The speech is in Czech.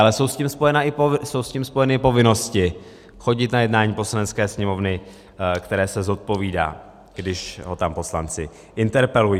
Ale jsou s tím spojeny i povinnosti chodit na jednání Poslanecké sněmovny, které se zodpovídá, když ho tam poslanci interpelují.